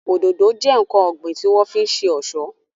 Òdòdó jẹ́ ǹkan ọ̀gbìn tí wọ́n fi ń ṣe ọ̀ṣọ́